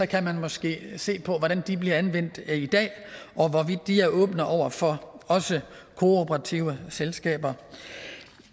kan man måske se på hvordan de bliver anvendt i dag og hvorvidt de også er åbne over for kooperative selskaber